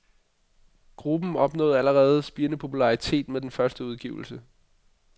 Gruppen opnåede allerede spirende popularitet med den første udgivelse.